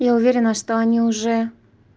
я уверена что они уже